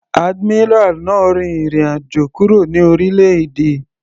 Admiral náà rin ìrìn àjò kúrò ní orílẹ̀-èdè.